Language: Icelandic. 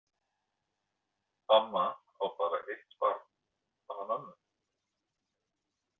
Amma á bara eitt barn, hana mömmu.